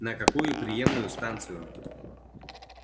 на какую приёмную станцию